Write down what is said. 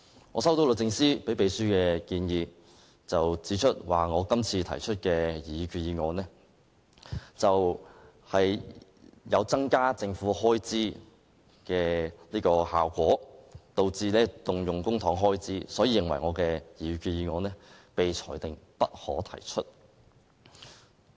我接獲律政司給予秘書的建議，指我今次提出的擬議決議案，有增加政府開支的效果，導致動用公帑開支，所以認為我的擬議決議案應被裁定為"不可提出"。